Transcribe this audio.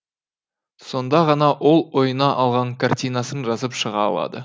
сонда ғана ол ойына алған картинасын жазып шыға алады